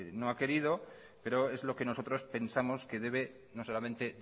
no ha querido pero es lo que nosotros pensamos que debe no solamente